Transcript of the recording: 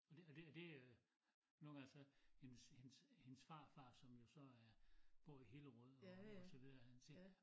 Og det og det og det øh nogen gange så hendes hendes hendes farfar som jo så er bor i Hillerød og og så videre han siger